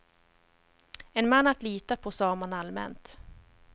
En man att lita på, sa man allmänt.